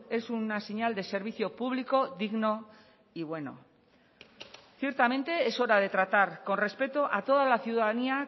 es una señal de servicio público digno y bueno ciertamente es hora de tratar con respeto a toda la ciudadanía